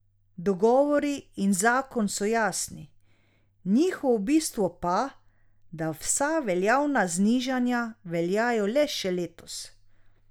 Dogovori in zakon so jasni, njihovo bistvo pa, da vsa veljavna znižanja veljajo le še letos.